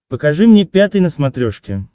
покажи мне пятый на смотрешке